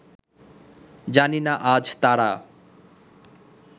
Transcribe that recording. জানি না আজ তারা